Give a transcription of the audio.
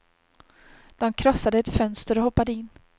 De krossade ett fönster och hoppade in.